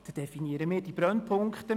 Dort definieren wir die Brennpunkte.